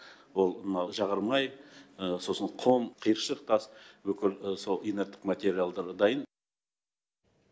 ол мынау жағармай сосын құм қиыршық тас бүкіл сол инерттік материалдар дайын